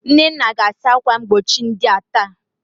Nnenna ga-asa akwa mgbochi ndia taa.